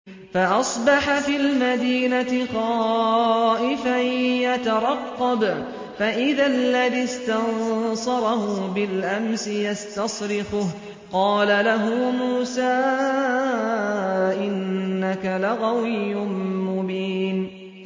فَأَصْبَحَ فِي الْمَدِينَةِ خَائِفًا يَتَرَقَّبُ فَإِذَا الَّذِي اسْتَنصَرَهُ بِالْأَمْسِ يَسْتَصْرِخُهُ ۚ قَالَ لَهُ مُوسَىٰ إِنَّكَ لَغَوِيٌّ مُّبِينٌ